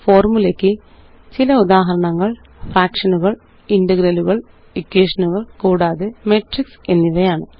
ഫോര്മുലയ്ക്ക് ചില ഉദാഹരണങ്ങള് ഫ്രാക്ഷനുകള് ഇന്റഗ്രലുകള് ഇക്വേഷനുകള് കൂടാതെ മെട്രിക്സ് എന്നിവയാണ്